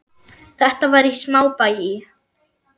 Þetta var í smábæ í